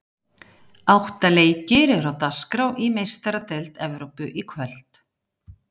Átta leikir eru á dagskrá í Meistaradeild Evrópu í kvöld.